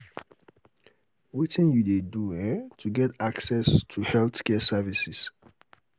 wetin you dey do um to get access to healthcare services?